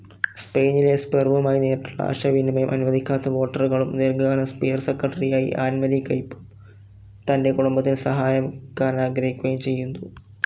സ്പെയിനിലെ സ്പെർവുമായി നേരിട്ടുള്ള ആശയവിനിമയം അനുവദിക്കാത്ത വോൾട്ടറുകളും ദീർഘകാല സ്പീയർ സെക്രട്ടറിയായ ആൻമറി കെംപും, തന്റെ കുടുംബത്തിന് സഹായിക്കാനാഗ്രഹിക്കുകയും ചെയ്തു.